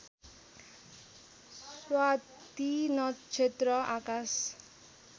स्वाति नक्षत्र आकाश